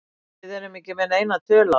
Við erum ekki með neina tölu á þessu.